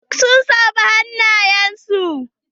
Duk san saffar hanayen su.